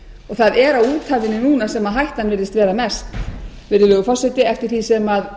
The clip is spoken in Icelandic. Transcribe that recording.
það er á úthafinu núna sem hættan virðist vera mest virðulegur forseti eftir því sem